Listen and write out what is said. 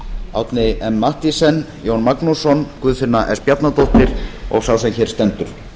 árni m mathiesen jón magnússon guðfinna s bjarnadóttir og sá sem hér stendur